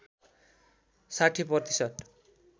६० प्रतिशत